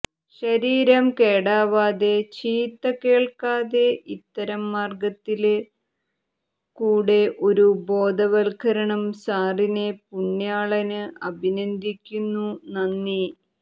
ശരീരം കേടാവാതെ ചീത്ത കേള്ക്കാതെ ഇത്തരം മാര്ഗ്ഗത്തില് കൂടെഒരു ബോധവല്കരണം സാറിനെ പുണ്യാളന് അഭിനന്ദിക്കുന്നു നന്ദി